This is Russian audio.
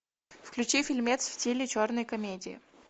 включи фильмец в стиле черной комедии